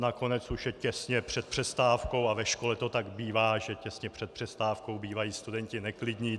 Nakonec už je těsně před přestávkou a ve škole to tak bývá, že těsně před přestávkou bývají studenti neklidní.